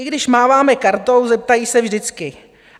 I když máváme kartou, zeptají se vždycky.